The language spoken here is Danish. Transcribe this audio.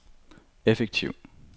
effektiv